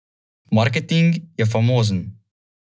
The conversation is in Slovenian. Marketing je famozen.